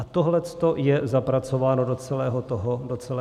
A tohle je zapracováno do celého toho manuálu.